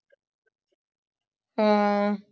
ਹੂ